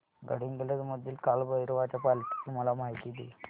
गडहिंग्लज मधील काळभैरवाच्या पालखीची मला माहिती दे